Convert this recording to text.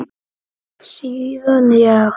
Síðan ég